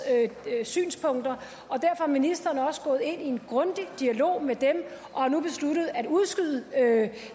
synspunkter og derfor er ministeren også gået ind i en grundig dialog med dem og har nu besluttet at udskyde